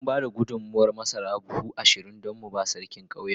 Mun ba da gudummawar masara buhu ashirin don mu ba Sarkin ƙauyenmu.